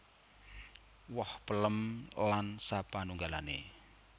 Woh pellem lan sapanunggalane